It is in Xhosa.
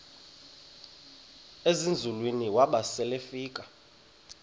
ezinzulwini waba selefika